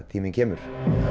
tíminn kemur